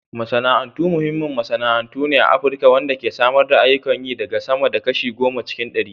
Masana'antu muhimmin masana'antu ne a Afirka wanda ke samar da ayyukan yi ga sama da kashi goma cikin ɗari.